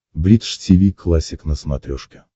бридж тиви классик на смотрешке